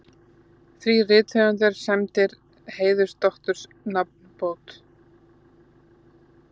Þrír rithöfundar sæmdir heiðursdoktorsnafnbót